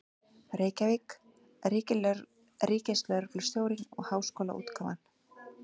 Reykjavík: Ríkislögreglustjórinn og Háskólaútgáfan.